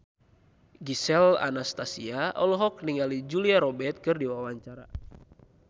Gisel Anastasia olohok ningali Julia Robert keur diwawancara